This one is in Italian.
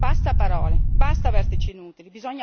Basta parole, basta vertici inutili!